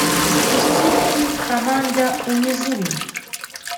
запусти фильм команда умизуми